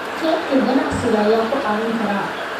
Kaydka ganacsiga ayaa ku caawin kara.